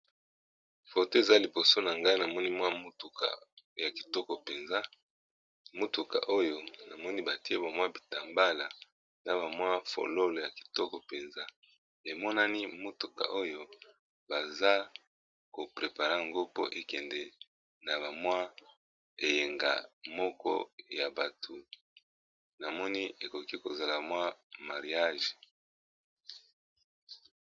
Photo eza liboso na ngai na moni mwa motuka ya kitoko penza , motuka oyo na moni batie ba mwa bitambala na ba mwa fololo ya kitoko penza . Emonani motuka oyo baza ko preparer ngo po ekende na ba mwa eyenga moko ya batu , na moni ekoki kozala mwa mariage.